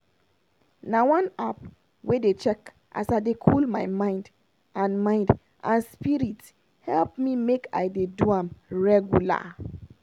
na one app wey dey check as i dey cool my mind and mind and spirit help me make i dey do am regular.